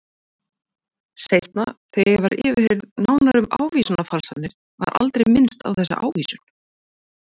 Seinna þegar ég var yfirheyrð nánar um ávísanafalsanirnar var aldrei minnst á þessa ávísun.